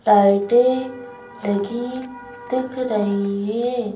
टाइटें लगी दिख रही हे।